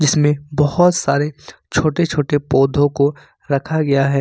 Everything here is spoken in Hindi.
जिसमें बहुत सारे छोटे-छोटे पौधों को रखा गया है।